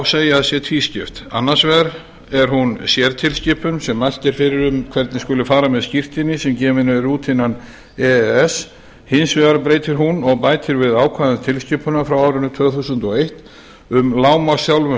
segja að sé tvískipt annars vegar er hún sértilskipun sem mælt er fyrir um hvernig skuli fara með skírteini sem gefin eru út innan e e s hins vegar breytir hún og bætir við ákvæði tilskipunar frá árinu tvö þúsund og eitt um lágmarksþjálfun